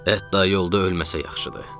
Hətta yolda ölməsə yaxşıdır.